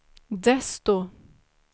desto